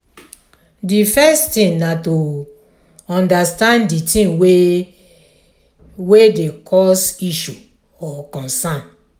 di first thing na to understand di thing wey dey cause issue or concern